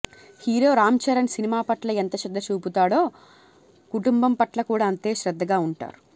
hero Ram Charan cinema పట్ల ఎంత శ్రద్ద చూపుతాడో కుటుంబం పట్ల కూడా అంతే శ్రద్దగా ఉంటారు